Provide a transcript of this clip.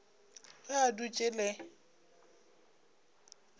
ge a dutše a le